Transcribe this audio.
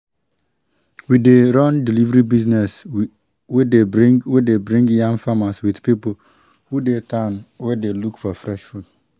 we dey run delivery service wey dey bring wey dey bring yam farmers with people wey dey town wey dey look for fresh food